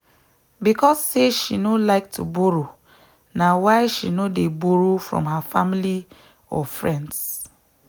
because say she no like to borrow na why she no dey borroe from her family or friends.